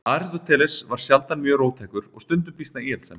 Aristóteles var sjaldan mjög róttækur og stundum býsna íhaldssamur.